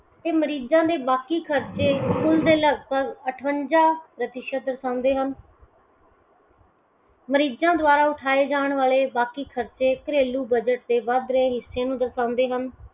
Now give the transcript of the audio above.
ਤੇ ਮਰੀਜ਼ਾਂ ਦੇ ਬਾਕੀ ਖਰਚੇ ਕੁੱਲ ਦੇ ਲਗਭਗ ਅਠਵੰਜਾ ਪ੍ਰਤੀਸ਼ਤ ਦਰਸਾਉਂਦੇ ਹਨ। ਮਰੀਜ਼ਾਂ ਦਵਾਰਾ ਉਠਾਏ ਜਾਨ ਵਾਲੇ ਬਾਕੀ ਖਰਚੇ ਘਰੇਲੂ ਬਜ਼ਟ ਦੇ ਵੱਧ ਰਹੇ ਹਿੱਸੇ ਨੂੰ ਦਰਸਾਉਂਦੇ ਹਨ।